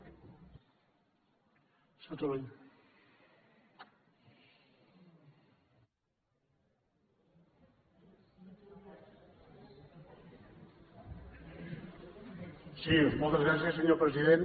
sí moltes gràcies senyor president